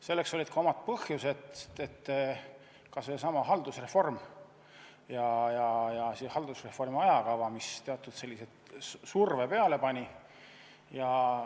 Selleks olid ka omad põhjused, kas või seesama haldusreform ja haldusreformi ajakava, mis teatud surve peale pani.